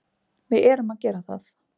Við erum að gera það.